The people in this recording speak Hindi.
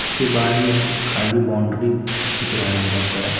उसके बाद में खाली बाउंड्री दिख रहा है बहुत बड़ा--